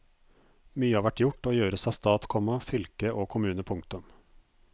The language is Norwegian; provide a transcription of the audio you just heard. Mye har vært gjort og gjøres av stat, komma fylke og kommune. punktum